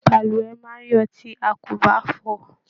Balùwẹ̀ máa n yọ tí a kò bá fọ.